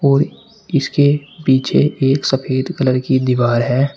और इसके पीछे एक सफेद कलर की दीवार है।